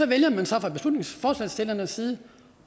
vælger så fra beslutningsforslagsstillernes side